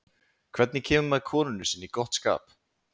Hvernig kemur maður konunni sinni í gott skap?